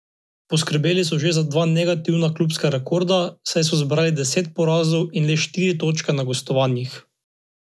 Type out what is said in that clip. Poskrbeli so še za dva negativna klubska rekorda, saj so zbrali deset porazov in le štiri točke na gostovanjih.